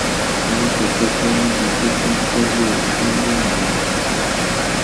owó tẹ tọpẹ níbi tó ti ń fọlé onílẹ londo